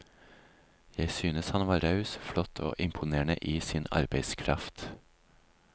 Jeg synes han var raus, flott og imponerende i sin arbeidskraft.